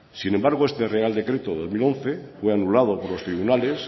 sin embargo este real decreto de dos mil once fue anulado por los tribunales